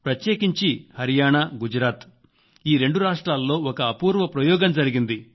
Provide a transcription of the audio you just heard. ప్రత్యేకించి హరియాణగుజరాత్ ఈ రెండు రాష్ట్రాల్లో ఒక అపూర్వ ప్రయోగం జరిగింది